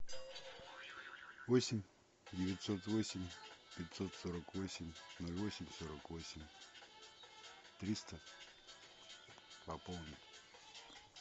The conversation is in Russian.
восемь девятьсот восемь пятьсот сорок восемь ноль восемь сорок восемь триста пополнить